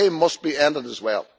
They must be ended as well.